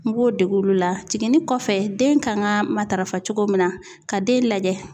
N b'o dege olu la jiginni kɔfɛ den kan ka matarafa cogo min na ka den lajɛ